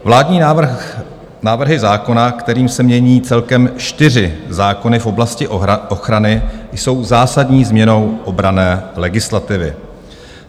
Vládní návrhy zákona, kterými se mění celkem čtyři zákony v oblasti ochrany, jsou zásadní změnou obranné legislativy.